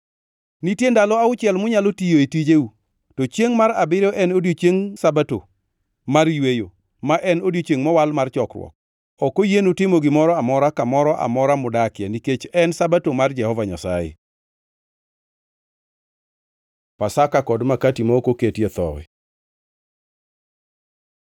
“ ‘Nitie ndalo auchiel munyalo tiyoe tijeu; to chiengʼ mar abiriyo en odiechieng Sabato mar yweyo, ma en odiechiengʼ mowal mar chokruok. Ok oyienu timo gimoro amora, kamoro amora mudakie, nikech en Sabato mar Jehova Nyasaye. Pasaka kod makati ma ok oketie thowi